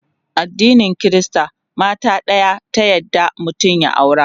addinin Krista mata ɗaya ta yarda mutum ya aura